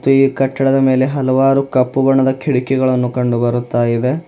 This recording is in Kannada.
ಈ ಕಟ್ಟಡದ ಮೇಲೆ ಹಲವಾರು ಕಪ್ಪು ಬಣ್ಣದ ಕಿಟಕಿಗಳನ್ನು ಕಂಡು ಬರುತ್ತ ಇದೆ.